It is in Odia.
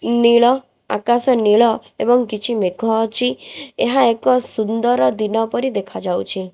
ନୀଳ ଆକାଶ ନୀଳ ଏବଂ କିଛି ମେଘ ଅଛି ଏହା ଏକ ସୁନ୍ଦର ଦିନ ପରି ଦେଖାଯାଉଚି।